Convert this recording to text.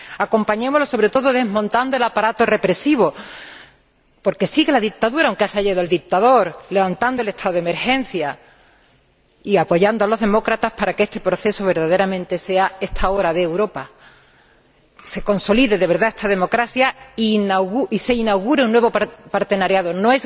Acompañémosla, sobre todo, desmontando el aparato represivo —porque sigue la dictadura, aunque se haya ido el dictador—, levantando el estado de emergencia y apoyando a los demócratas para que este proceso verdaderamente sea esta hora de Europa, se consolide de verdad esta democracia y se inaugure una nueva asociación.